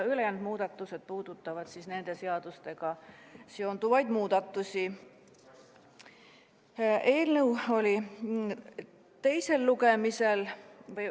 Ülejäänud muudatused puudutavad nende seadustega seonduvaid muudatusi.